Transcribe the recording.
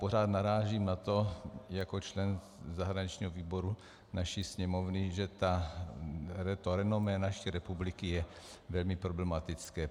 Pořád narážím na to jako člen zahraničního výboru naší Sněmovny, že to renomé naší republiky je velmi problematické.